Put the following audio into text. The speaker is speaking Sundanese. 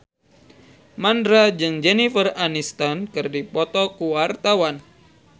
Mandra jeung Jennifer Aniston keur dipoto ku wartawan